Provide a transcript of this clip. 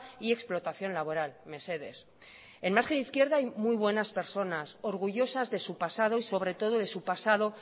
y explotación laboral mesedez en margen izquierda hay muy buenas personas orgullosas de su pasado y sobre todo de su pasado